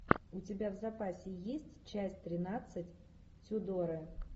у тебя в запасе есть часть тринадцать тюдоры